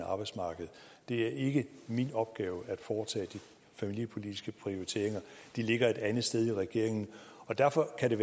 arbejdsmarked det er ikke min opgave at foretage de familiepolitiske prioriteringer de ligger et andet sted i regeringen derfor er det